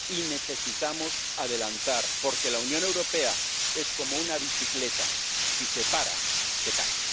Y necesitamos adelantar, porque la Unión Europea es como una bicicleta, si se para, se cae.